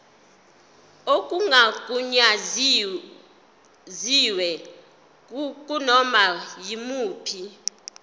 okungagunyaziwe kunoma yimuphi